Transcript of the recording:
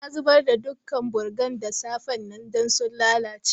Na zubar da dukan burgan da safe'n nan dan sun lallace.